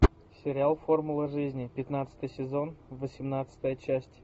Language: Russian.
сериал формула жизни пятнадцатый сезон восемнадцатая часть